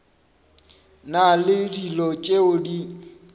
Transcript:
na le dilo tšeo di